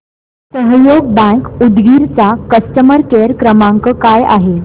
सहयोग बँक उदगीर चा customer care क्रमांक काय आहे